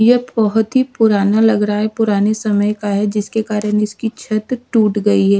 यह बहुत ही पुराना लग रहा है पुराने समय का है जिसके कारण इसकी छत टूट गई है।